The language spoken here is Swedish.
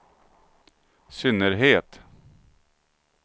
synnerhet